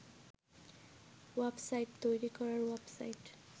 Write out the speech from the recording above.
ওয়াপ site তৈরি করার ওয়াপ সাইট